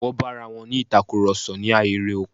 Wọ́n bá arawọn ní ìtakurọ̀sọ̀ ní ahéré oko.